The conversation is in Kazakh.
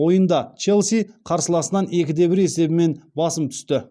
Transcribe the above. ойында челси қарсыласынан екі де бір есебімен басым түсті